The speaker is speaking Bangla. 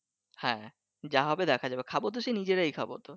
হ্যাঁ যা হবে দেখা যাবে খাবো তো সে নিজেরাই খাবো